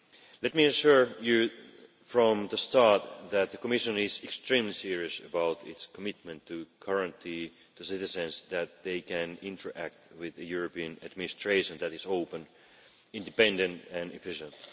Let me assure you from the start that the Commission is extremely serious about its commitment to guaranteeing that citizens can interact with a European administration that is open, independent and efficient.